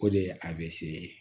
O de ye a bɛ se